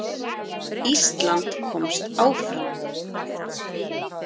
Ísland komst áfram